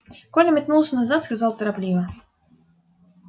коля метнулся назад сказал торопливо